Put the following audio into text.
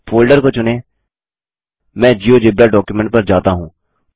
folder को चुनेंमैं GeoGebra document पर जाता हूँ